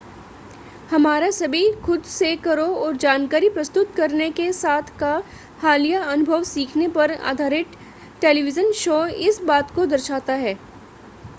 हमारा सभी खुद-से-करो और जानकारी प्रस्तुत करने के साथ का हालिया अनुभव सीखने पर आधारित टेलीविज़न शो इस बात को दर्शाता है